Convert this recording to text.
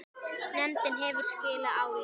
Nefndin hefur skilað áliti.